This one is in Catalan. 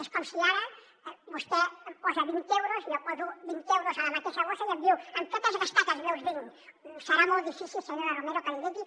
és com si ara vostè posa vint euros jo poso vint euros a la mateixa bossa i em diu amb què t’has gastat els meus vint serà molt difícil senyora romero que l’hi digui